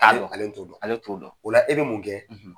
ale t'o o dɔn, ale t'o dɔn, o la e bɛ mun kɛ